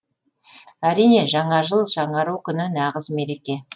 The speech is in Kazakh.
әрине жаңа жыл жаңару күні нағыз мереке